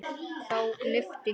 Þá lyfti